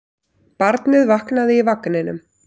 Barnið vaknaði í vagninum.